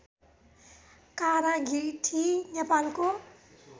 काँरागिठी नेपालको